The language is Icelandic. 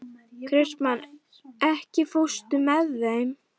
Kristmann, ekki fórstu með þeim?